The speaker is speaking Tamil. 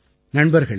நண்பர்களே